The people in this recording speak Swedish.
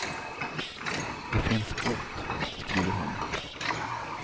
Det finns bot, skriver hon.